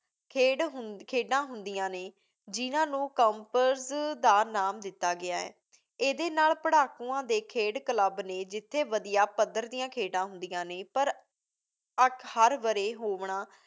ਖੇਡ ਹੁੰ~ ਖੇਡਾਂ ਹੁੰਦੀਆਂ ਨੇ ਜਿਹਨਾਂ ਨੂੰ ਕਪਰਜ਼ ਦਾ ਨਾਮ ਦਿੱਤਾ ਗਿਆ ਹੈ। ਇਹਦੇ ਨਾਲ਼ ਪੜ੍ਹਾਕੂਆਂ ਦੇ ਖੇਡ ਕਲੱਬ ਨੇ ਜਿੱਥੇ ਵਧੀਆ ਪੱਧਰ ਦੀਆਂ ਖੇਡਾਂ ਹੁੰਦੀਆਂ ਨੇਂ। ਪਰ ਅੱਖ ਹਰ ਵਰ੍ਹੇ ਹੋਣਵਾ